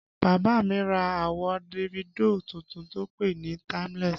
Bàbá mi ra àwo Davido tuntun tó pè NÍ Timeless